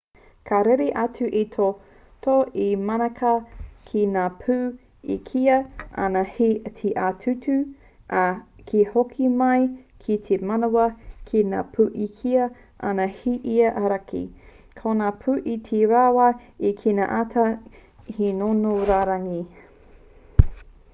ka rere atu te toto i te manawa ki ngā pū e kīia ana he ia-tuku ā ka hoki mai ki te manawa ki ngā pū e kīia ana he ia-auraki ko ngā pū iti rawa e kīia ana he ngongo rauangi